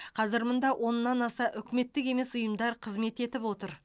қазір мұнда оннан аса үкіметтік емес ұйымдар қызмет етіп отыр